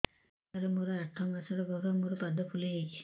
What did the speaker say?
ସାର ମୋର ଆଠ ମାସ ଗର୍ଭ ମୋ ପାଦ ଫୁଲିଯାଉଛି